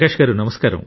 ప్రకాశ్ గారూ